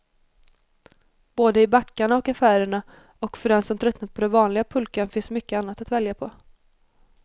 Både i backarna och affärerna, och för den som tröttnat på den vanliga pulkan finns mycket annat att välja på.